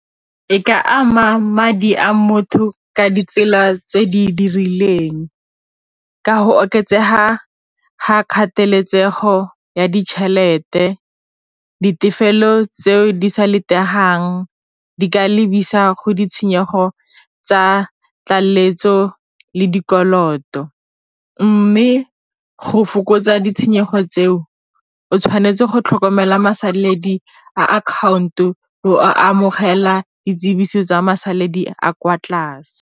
E ka ama madi a motho ka ditsela tse di dirilweng ka go oketsega ga kgateletsego ya ditšhelete, ditefelelo tse di sa di ka lebisa go ditshenyego tsa tlaleletso le dikoloto. Mme go fokotsa ditshenyego tseo o tshwanetse go tlhokomela masaledi a account-o a amogela Di tsibiso tsa masalela a kwa tlase.